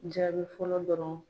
Jaabi fɔlɔ dɔrɔn